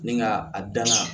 Ni nka a danna